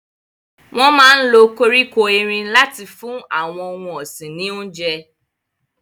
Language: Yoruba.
Wọn máa ń lo koríko erin láti fún àwọn ohun ọ̀sìn ní oúnjẹ.